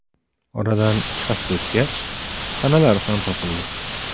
Oradan ikki hafta o‘tgach, tanalari ham topildi.